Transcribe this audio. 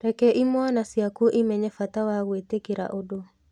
Reke imwana ciaku imenye bata wa gwĩtĩkĩra ũndũ.